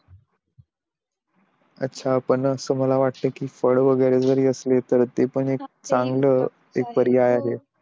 अच्छा पण मला असं वाट कि फळ वैगेरे जरी असले ते पण ए क चांगलं पर्याय आहे